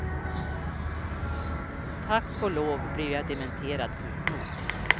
Tack och lov blev jag dementerad fort nog.